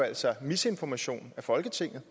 altså misinformation af folketinget